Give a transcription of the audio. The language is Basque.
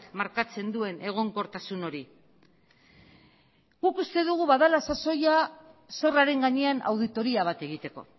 markatzen duen egonkortasun hori guk uste dugu badela sasoia zorraren gainean auditoria bat egiteko